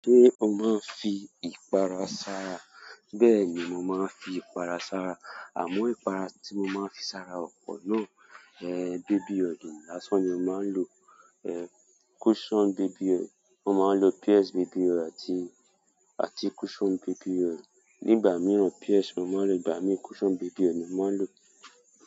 Ṣé o máa ń fi ìpara sara? Bẹ́ẹ̀ni, mo máa ń fi ìpara sara. Àmọ́ ìpara tí mo máa ń fi sara ọpọ̀ náà, baby oil, láṣan ni mo máa ń lò, cushion baby oil. Mo máa ń lò Pears baby oil àti, àti cushion baby oil. Nígbà mìíràn Pears mo máa ń lò, ìgbà mi cushion baby oil ni mo máa ń lò.